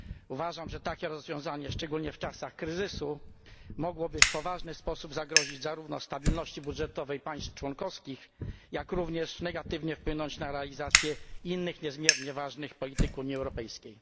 Uważam, że takie rozwiązanie, szczególnie w czasach kryzysu, mogłoby zarówno w poważny sposób zagrozić stabilności budżetowej państw członkowskich, jak i negatywnie wpłynąć na realizację innych niezmiernie ważnych polityk Unii Europejskiej.